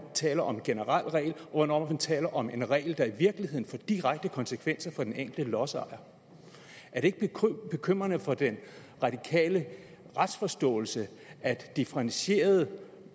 taler om en generel regel og hvornår man taler om en regel der i virkeligheden får direkte konsekvenser for den enkelte lodsejer er det ikke bekymrende for den radikale retsforståelse at differentieret